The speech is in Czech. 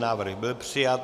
Návrh byl přijat.